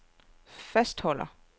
fastholder